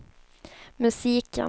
musiken